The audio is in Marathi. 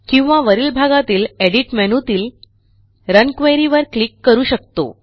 किंवा वरील भागातील एडिट मेनू तील रन क्वेरी वर क्लिक करू शकतो